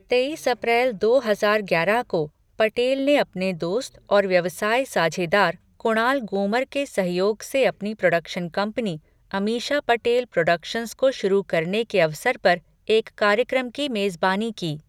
तेईस अप्रैल दो हजार ग्यारह को, पटेल ने अपने दोस्त और व्यवसाय साझेदार, कुणाल गूमर के सहयोग से अपनी production company, Ameesha Patel productions को शुरू करने के अवसर पर एक कार्यक्रम की मेजबानी की।